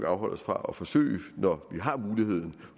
afholde os fra at forsøge når vi har muligheden